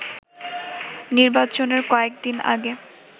নির্বাচনের কয়েকদিন আগে